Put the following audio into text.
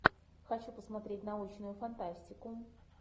хочу посмотреть научную фантастику